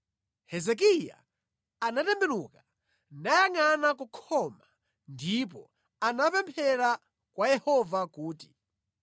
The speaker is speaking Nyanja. Hezekiya anatembenuka nayangʼana ku khoma ndipo anapemphera kwa Yehova kuti,